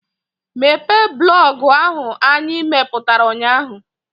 Mepee blọọgụ ahụ anyị mepụtara ụnyaahụ!